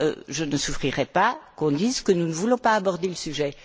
Je ne souffrirai pas qu'on dise que nous ne voulons pas aborder le sujet.